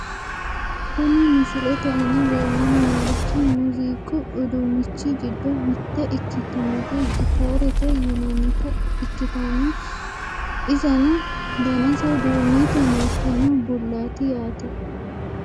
Kuni misilete aana leellanni noorichi muuziiqu uduunnichi giddo mitte ikkitinota gitaarete yinannita ikkitanna, iseno danase duumete martino bullaati yaate .